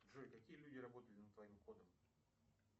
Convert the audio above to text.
джой какие люди работали над твоим кодом